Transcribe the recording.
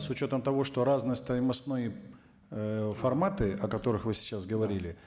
с учетом того что разные стоимостные ыыы форматы о которых вы сейчас говорили